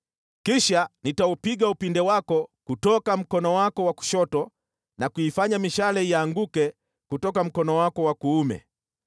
Kisha nitaupiga upinde wako kutoka mkono wako wa kushoto na kuifanya mishale ianguke kutoka mkono wako wa kuume.